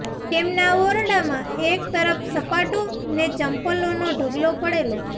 તેમના ઓરડામાં એક તરફ સપાટો ને ચંપલોનો ઢગલો પડેલો